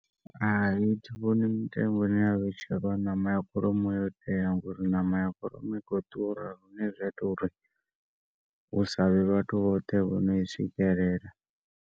Hai thi vhoni mitengo ine ya vhetshelwa ṋama ya kholomo yo tea ngauri ṋama ya kholomo i khou ḓura lune zwa ita uri hu sa vhe vhathu vhoṱhe vhono i swikelela.